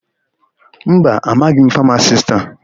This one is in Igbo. Mba, amaghị m famasisti a.